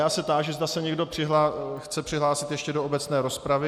Já se táži, zda se někdo chce přihlásit ještě do obecné rozpravy.